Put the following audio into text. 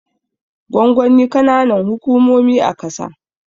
Gwangwani kananan hukumomi a kasa